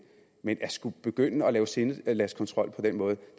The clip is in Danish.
men at skulle begynde at lave sindelagskontrol på den måde